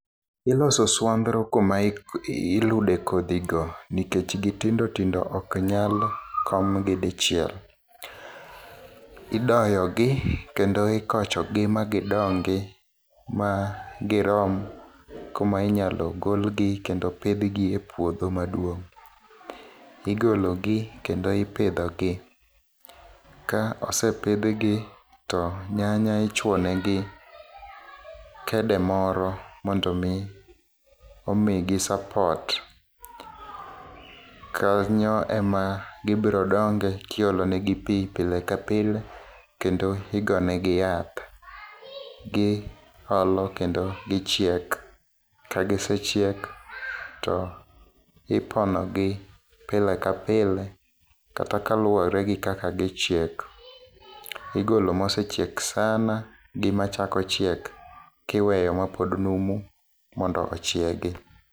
Iloso oswandhro kuma ilude kodhigo nikech gitindo tindo ok nyal komgi dichiel. Idoyogi kendo ikochogi ma gidongi, ma girom kuma inyalo golgi kendo pidhgi e puodho maduong'. Igologi kendo ipidhogi. Ka osepidhgi, to nyanya ichwo negi kede moro mondo omi omigi support. Kanyo ema gibiro donge ka iolo negi pi pile ka pile, kendo igo negi yath. Giolo kendo gichiek ,kagisechiek, to iponogi pile ka pile, kata ka luwore gi kaka gichiek. Igolo mosechiek sana gi machako chiek, kiweyo mapod numu mondo ochiegi.